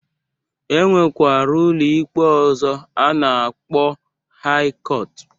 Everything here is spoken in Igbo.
E nwekara ụlọikpe ọzọ nke a na-akpọ haị kọtụ